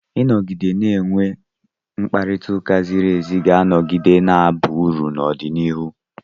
Ịnọgide na-enwe mkparịta ụka ziri ézí ga-anọgide na-aba uru n'ọdịnihu.